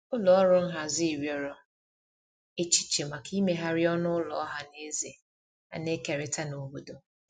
ụlọ ọrụ nhazi riọrọ echiche maka imeghari ọnụ ụlọ ohanaeze ana ekerita n'obodo